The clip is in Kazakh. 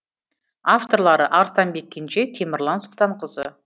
авторлары арыстанбек кенже темірлан сұлтанғазы